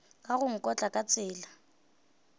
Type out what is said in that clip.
ka go nkotla ka tsela